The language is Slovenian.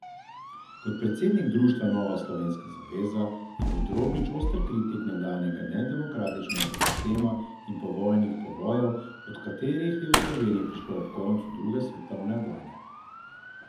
Kot predsednik društva Nova Slovenska zaveza je bil Drobnič oster kritik nekdanjega nedemokratičnega sistema in povojnih povojev, do katerih je v Sloveniji prišlo ob koncu druge svetovne vojne.